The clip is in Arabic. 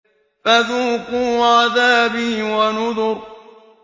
فَذُوقُوا عَذَابِي وَنُذُرِ